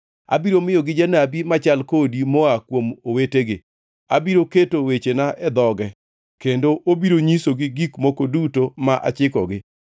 Abiro miyogi janabi machal kodi moa kuom owetegi, abiro keto wechena e dhoge kendo obiro nyisogi gik moko duto ma achikogi.